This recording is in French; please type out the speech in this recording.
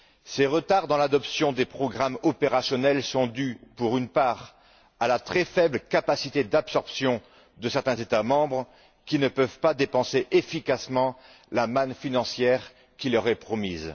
Ces retards dans l'adoption des programmes opérationnels sont dus, pour une part, à la très faible capacité d'absorption de certains États membres qui ne peuvent pas dépenser efficacement la manne financière qui leur est promise.